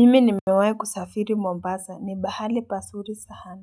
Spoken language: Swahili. Mimi nimewai kusafiri Mombasa ni bahali pazuri Saana.